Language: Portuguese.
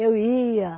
Eu ia.